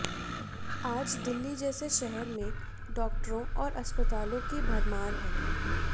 आज दिल्ली जैसे शहर में डॉक्टरों और अस्पतालों की भरमार है